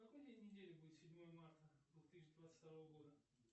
какой день недели будет седьмое марта две тысячи двадцать второго года